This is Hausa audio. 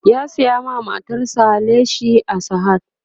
ya saya ma matar sa leshi a sahad